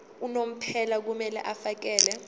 unomphela kumele afakele